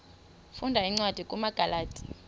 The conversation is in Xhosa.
funda cwadi kumagalati